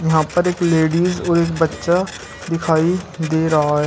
यहां पर एक लेडिस और एक बच्चा दिखाई दे रहा है।